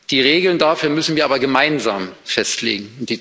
Die Regeln dafür müssen wir aber gemeinsam festlegen.